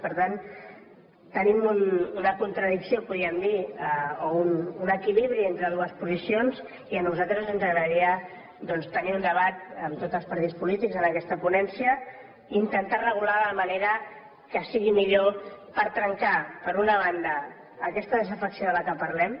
per tant tenim una contradicció podríem dir o un equilibri entre dues posicions i a nosaltres ens agradaria doncs tenir un debat amb tots els partits polítics en aquesta ponència i intentar regular la manera que sigui millor per trencar per una banda aquesta desafecció de què parlem